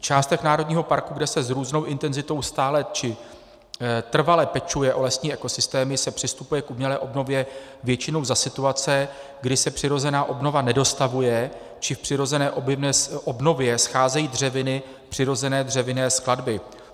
V částech národního parku, kde se s různou intenzitou stále či trvale pečuje o lesní ekosystémy, se přistupuje k umělé obnově většinou za situace, kdy se přirozená obnova nedostavuje či v přirozené obnově scházejí dřeviny přirozené dřevinné skladby.